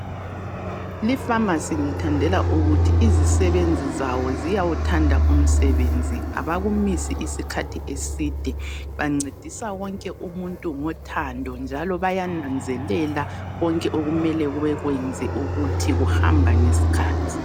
Lifamasi ngiyithandela ukuthi izisebenzi zawo ziyawuthanda umsebenzi. Bancedisa wonke umuntu ngothando njalo bayananzelela konke abamele bakwenze ukuthi kuhamba ngesikhathi.